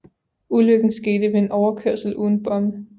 Ulykken skete ved en overkørsel uden bomme